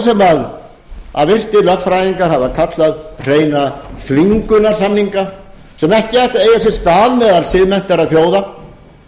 sem virtir lögfræðingar hafa kallað hreina þvingunarsamninga sem ekki eigi að eiga sér stað meðal siðmenntaðra þjóða